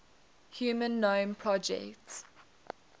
human genome project